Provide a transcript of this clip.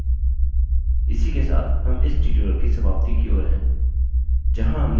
इसी के साथ हम इस tutorial की समाप्ति की ओर हैं जहाँ हमने printing के बारे में सीखा